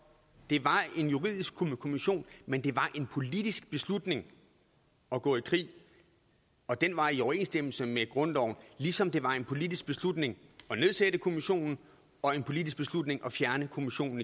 det var en juridisk kommission men det var en politisk beslutning at gå i krig og den var i overensstemmelse med grundloven ligesom det var en politisk beslutning at nedsætte kommissionen og en politisk beslutning at fjerne kommissionen